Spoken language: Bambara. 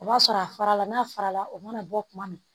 O b'a sɔrɔ a farala n'a fara la o mana bɔ kuma min